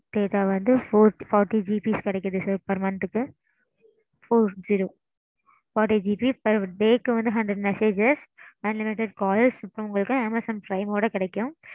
data வந்து four fortyGB கிடைக்குது sir per month க்கு four zero forty GB per day க்கு வந்து hundred messages unlimited calls இப்போ உங்களுக்கு Amazon prime ஓட கிடைக்கும்.